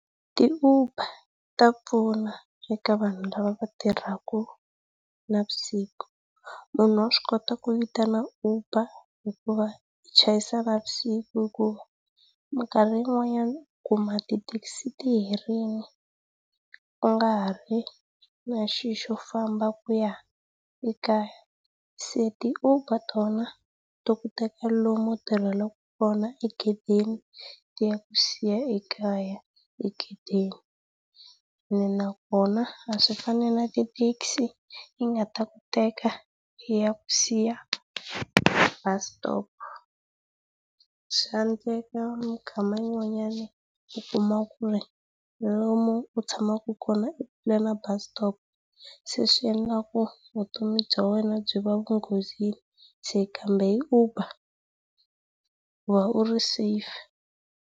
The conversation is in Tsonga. Ti Uber ta pfuna eka vanhu lava va tirhaka navusiku. Vanhu va swi kota ku vitana Uber hikuva u chayisa navusiku hi ku minkarhi yin'wanyana u kuma ti taxi ti herile, u nga ri na xilo xo famba ku ya ekaya. Se tu Uber tona, to ku teka lomu u tirhelaka kona egedeni, ti ya ku siya ekaya egedeni. Ene nakona, a swi fani na ti taxi ti nga ta ku teka ti ya ku siya bus stop. Swa endleka yin'wanyana u kuma ku ri lomu u tshamaka kona i kule na bus stop, leswi endlaka vutomi bya wena byi va enghozini. Se kambe hi Uber, u va u ri safe.